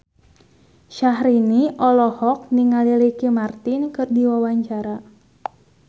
Syahrini olohok ningali Ricky Martin keur diwawancara